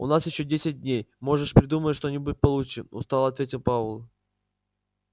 у нас ещё десять дней можешь придумать что-нибудь получше устало ответил пауэлл